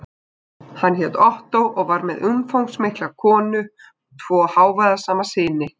Hann hét Ottó og var með umfangsmikla konu og tvo hávaðasama syni.